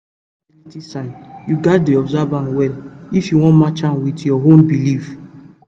to dey track fertility signs you gats dey observe am well if you wan match am with your own belief pause